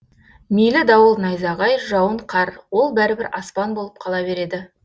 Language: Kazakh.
мейлі дауыл найзағай жауын қар ол бәрібір аспан болып қала береді